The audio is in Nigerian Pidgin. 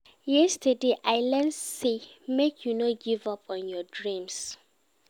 Yesterday, I learn sey make you no give up on your dreams.